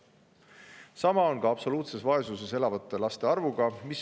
Samamoodi on ka absoluutses vaesuses elavate laste arv vähenenud.